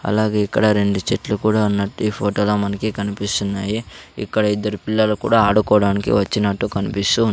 అలాగే ఇక్కడ రెండు చెట్లు కూడా ఉన్నట్టు ఈ ఫోటో లో మనకి కనిపిస్తున్నాయి. ఇక్కడ ఇద్దరు పిల్లలు కూడా ఆడుకోవడానికి వచ్చినట్టు కన్పిస్తూ ఉన్ --